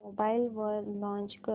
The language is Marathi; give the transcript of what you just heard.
मोबाईल वर लॉंच कर